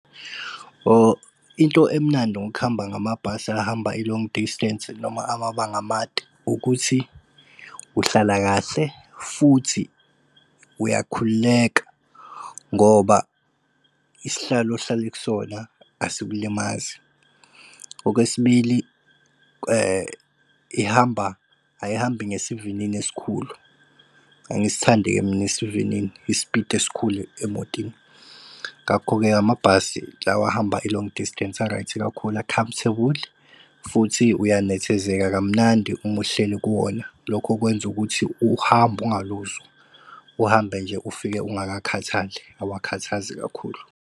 Into emnandi ngokuhamba ngamabhasi ahamba i-long distance noma amabanga amade ukuthi uhlala kahle futhi uyakhululeka ngoba isihlalo ohlale kusona asikulimazi. Okwesibili, ihamba ayihambi ngesivinini esikhulu. Angisithandi-ke mina esivinini isipiti esikhulu emotini. Ngakho-ke amabhasi lawa ahamba i-long distance a-right kakhulu a-comfortable futhi uyanethezeka kamnandi uma uhleli kuwona. Lokho okwenza ukuthi uhambo ungaluzwa. Uhambe nje ufike ungakakhathali, awakhathazi kakhulu.